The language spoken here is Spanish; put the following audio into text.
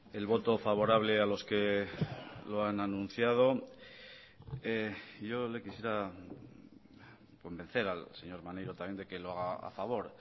el voto favorable a los que lo han anunciado yo le quisiera convencer al señor maneiro también de que lo haga a favor